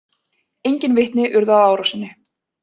Enginn vitni urðu að árásinni